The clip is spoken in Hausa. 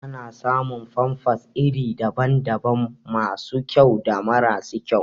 Ana samun famfas iri daban daban masu kyau da mara su kyau